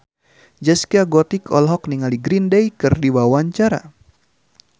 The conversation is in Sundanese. Zaskia Gotik olohok ningali Green Day keur diwawancara